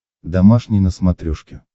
домашний на смотрешке